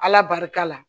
Ala barika la